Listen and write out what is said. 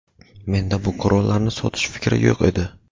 menda bu qurollarni sotish fikri yo‘q edi.